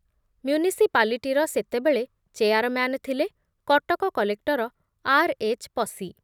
ମ୍ୟୁନିସିପାଲିଟିର ସେତେବେଳେ ଚେୟାରମ୍ୟାନ ଥିଲେ କଟକ କଲେକ୍ଟର ଆର୍ ଏଚ୍ ପସି